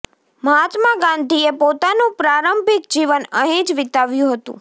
મહાત્મા ગાંધીએ પોતાનું પ્રારંભિક જીવન અહીં જ વિતાવ્યું હતું